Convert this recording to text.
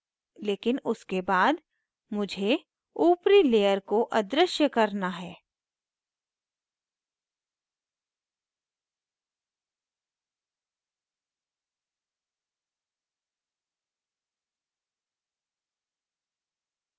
लेकिन उसके बाद मुझे ऊपरी layer को अदृश्य करना है